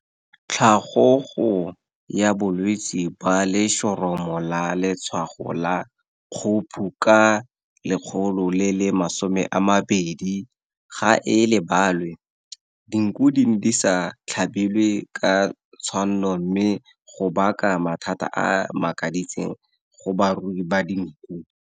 Tlhagogo ya bolwetse ba letshoroma la letshwago la kgophu ka 2010 ga e labalwe. Dinku di ne di sa tlhabelwe ka tshwanno mme ga baka mathata a a makaditseng go barui ba dinku.